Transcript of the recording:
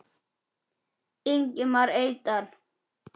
Ingimar Eydal